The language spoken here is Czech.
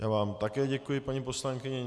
Já vám také děkuji, paní poslankyně.